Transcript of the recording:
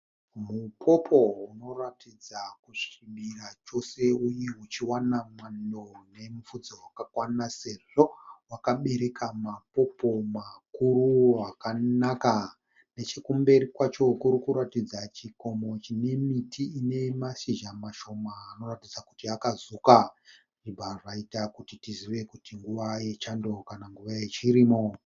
Mupopo unoratidza kusvibira chose uye uchiwana mwando nemupfudze wakakwana sezvo wakabereka mapopo makuru akanaka nechekumberi kwacho kurikutaridza chikomo chine miti ine mashizha mashoma anoratidza kuti akazuka zvobva zvaita kuti tizive kuti inguva yechando kana nguva yechirimo.